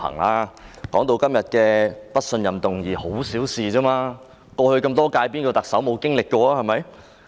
他指出今天的不信任議案只是小事，歷任特首中有誰未經歷過？